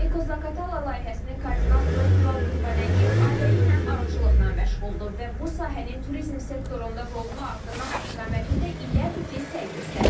Eko Zaqatala layihəsinin koordinatoru Tural Qurbənəliyev ailəliklə arıçılıqla məşğuldur və bu sahənin turizm sektorunda rolunu artırmaq istiqamətində illərdir ki, səy göstərir.